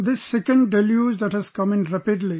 This second deluge that has come in rapidly